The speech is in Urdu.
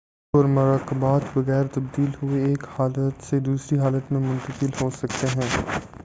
عناصر اور مرکبات بغیر تبدیل ہوئے ایک حالت سے دوسری حالت میں منتقل ہو سکتے ہیں